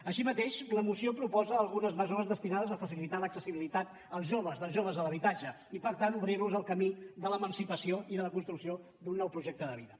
així mateix la moció proposa algunes mesures destinades a facilitar l’accessibilitat als joves dels joves a l’habitatge i per tant obrir los el camí de l’emancipació i de la construcció d’un nou projecte de vida